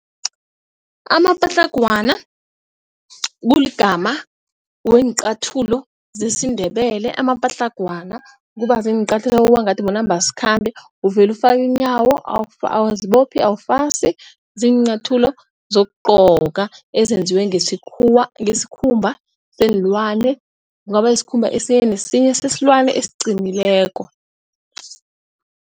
Amapatlagwana kuligama weenqathulo zesiNdebele. Amapatlagwana kuba ziinqathulo kubangathi bona manambasikhambe uvela ufake inyawo awuzibophi awufasi, ziinyathulo zokugcoka ezenziwe ngesikhuwa ngesikhumba seenlwane kungaba yisikhumba esinye nesinye sesilwane esiqinileko.